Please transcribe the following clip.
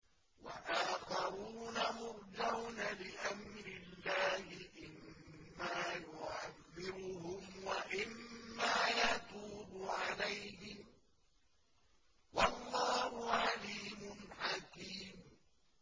وَآخَرُونَ مُرْجَوْنَ لِأَمْرِ اللَّهِ إِمَّا يُعَذِّبُهُمْ وَإِمَّا يَتُوبُ عَلَيْهِمْ ۗ وَاللَّهُ عَلِيمٌ حَكِيمٌ